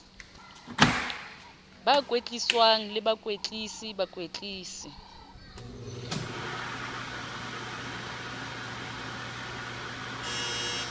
ba kwetliswang le bakwetlisi bakwetlisi